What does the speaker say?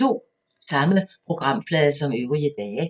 Samme programflade som øvrige dage